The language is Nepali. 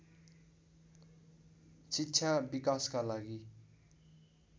शिक्षा विकासका लागि